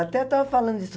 Até eu estava falando disso.